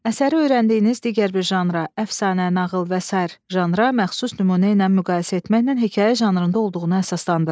Əsəri öyrəndiyiniz digər bir janra, əfsanə, nağıl və sair janra məxsus nümunə ilə müqayisə etməklə hekayə janrında olduğunu əsaslandırın.